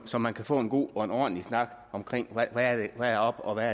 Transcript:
så man kan få en god og en ordentlig snak om hvad der er op og hvad